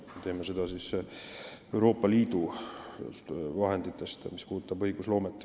Mis puudutab õigusloomet, siis me teeme seda Euroopa Liidu vahenditest.